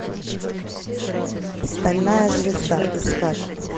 стальная звезда искать